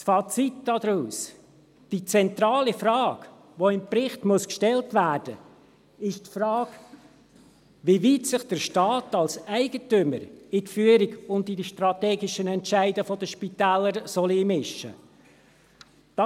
Das Fazit daraus: Die zentrale Frage, die im Bericht gestellt werden muss, ist die Frage, wie weit sich der Staat als Eigentümer in die Führung und in die strategischen Entscheide der Spitäler einmischen soll.